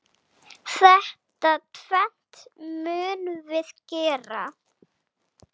Þetta tvennt munum við gera.